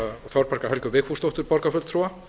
þorbjargar helgu vigfúsdóttur borgarfulltrúa